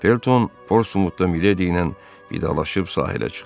Felton Portsmutda Mileydi ilə vidalaşıb sahilə çıxdı.